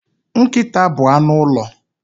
Nkịta bụ anụ ụlọ.